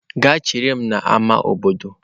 Gaa chere m n'ámá obodo!